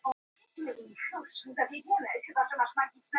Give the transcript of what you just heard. Rannsókn hætt á meintum auðgunarbrotum